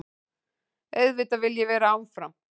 Auðvitað vil ég vera áfram.